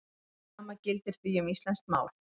Hið sama gildir því um íslenskt mál.